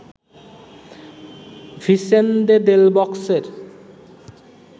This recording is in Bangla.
Vicente del বস্কের